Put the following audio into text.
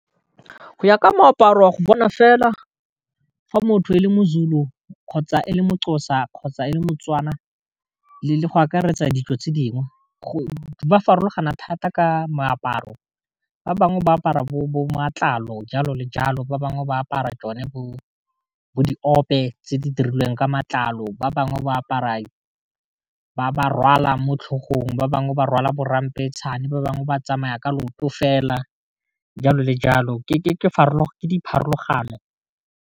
Go ya ka moaparo wa go bona fela fa motho e le moZulu kgotsa e le mo moXhoza kgotsa e le moTswana le le go akaretsa dijo tse dingwe go ba farologana thata ka moaparo ba bangwe ba apara bo matlalo jalo le jalo, ba bangwe ba apara tsone bo di ope tse di dirilweng ka matlalo ba bangwe ba apara ba rwala mo tlhogong ba bangwe ba rwala bo ramphetšhane ba bangwe ba tsamaya ka loto fela jalo le jalo ke dipharologano.